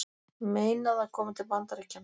Meinað að koma til Bandaríkjanna